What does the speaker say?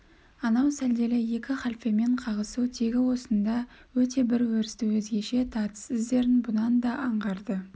анау сәлделі екі халфемен қағысу тегі осында өте бір өрісті өзгеше тартыс іздерін бұнан да аңғарды